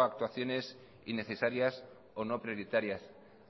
a actuaciones innecesarias o no prioritarias